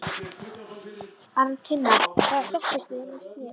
Arntinna, hvaða stoppistöð er næst mér?